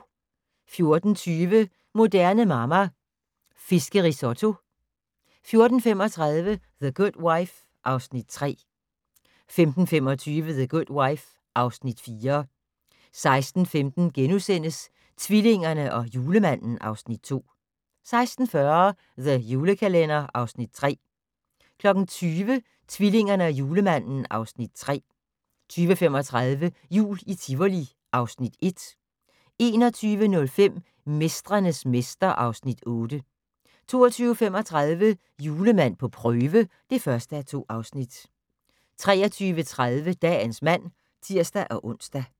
14:20: Moderne Mamma - Fiskerisotto 14:35: The Good Wife (Afs. 3) 15:25: The Good Wife (Afs. 4) 16:15: Tvillingerne og Julemanden (Afs. 2)* 16:40: The Julekalender (Afs. 3) 20:00: Tvillingerne og Julemanden (Afs. 3) 20:35: Jul i Tivoli (Afs. 1) 21:05: Mestrenes mester (Afs. 8) 22:35: Julemand på prøve (1:2) 23:30: Dagens mand (tir-ons)